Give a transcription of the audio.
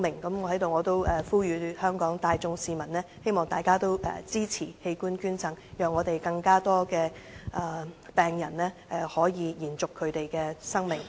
我在此也呼籲香港市民支持器官捐贈，讓我們有更多病人可以延續他們的生命。